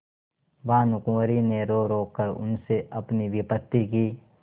भानुकुँवरि ने रोरो कर उनसे अपनी विपत्ति की